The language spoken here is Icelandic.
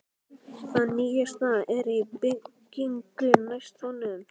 Það nýjasta er í byggingu næst honum.